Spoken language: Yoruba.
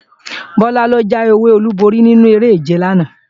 Bọlá ló jáwé olúborí nínu eré-ìje lánàá